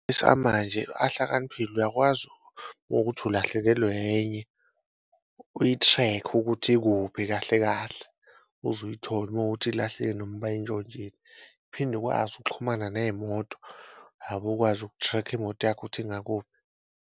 Esamanje ahlakaniphile uyakwazi ukuthi ulahlekelwe enye uyi-track-e ukuthi ikuphi kahle kahle uze uyithole uma wukuthi noma bayintshontshile, uphinde ukwazi ukuxhumana ney'moto ukwazi uku-track-a imoto yakho ukuthi ingakuphi.